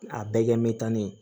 A bɛɛ kɛ mɛta ne